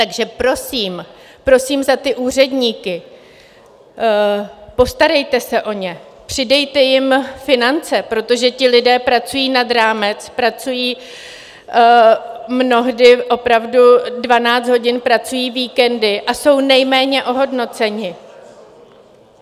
Takže prosím, prosím za ty úředníky, postarejte se o ně, přidejte jim finance, protože ti lidé pracují nad rámec, pracují mnohdy opravdu dvanáct hodin, pracují víkendy a jsou nejméně ohodnoceni.